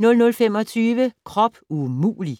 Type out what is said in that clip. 00:25: Krop umulig!